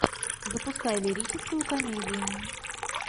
запускай лирическую комедию